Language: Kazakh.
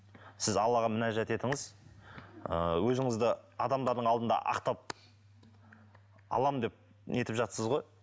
сіз аллаға мінәжат етіңіз ыыы өзіңізді адамдардың алдында ақтап аламын деп нетіп жатсыз ғой